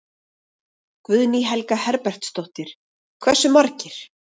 Guðný Helga Herbertsdóttir: Hversu margir?